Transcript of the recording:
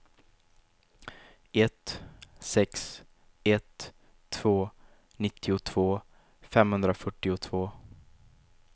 ett sex ett två nittiotvå femhundrafyrtiotvå